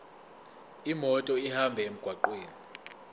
imoto ihambe emgwaqweni